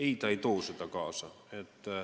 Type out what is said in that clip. Ei, ta ei too neid kaasa.